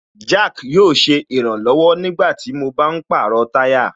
Jack yóò ṣe ìrànlọ̀wọ̀ nígbàtí mo bá ń pàrọ̀ táyà